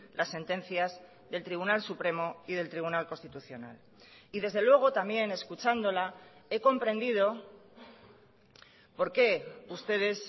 las sentencias del tribunal supremo y del tribunal constitucional y desde luego también escuchándola he comprendido por qué ustedes